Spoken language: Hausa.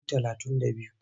Su talatun da biyu.